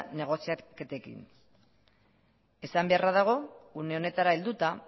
negoziaketekin esan beharra dago une honetara helduta